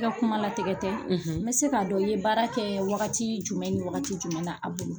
I ka kuma latigɛ tɛ n bɛ se k'a dɔn i ye baara kɛ wagati jumɛn ni wagati jumɛn a bolo.